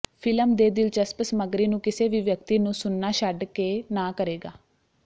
film ਦੇ ਦਿਲਚਸਪ ਸਮੱਗਰੀ ਨੂੰ ਕਿਸੇ ਵੀ ਵਿਅਕਤੀ ਨੂੰ ਸੁਣਨਾ ਛੱਡ ਕੇ ਨਾ ਕਰੇਗਾ